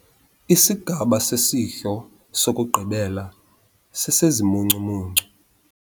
Isigaba sesidlo sokugqibela sesezimuncumuncu.